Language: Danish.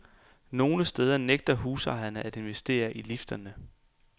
Nogle steder nægter husejerne at investere i lifterne.